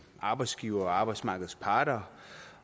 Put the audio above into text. arbejdsgiverne arbejdsmarkedets parter